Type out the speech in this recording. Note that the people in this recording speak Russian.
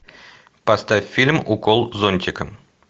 поставь фильм укол зонтиком